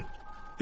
Bir sözlə.